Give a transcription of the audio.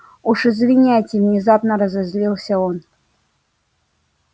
уж извиняйте внезапно разозлился он